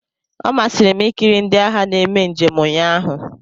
Ọ masịrị m ikiri ndị agha na-eme njem ụnyaahụ.